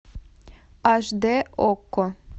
аш дэ окко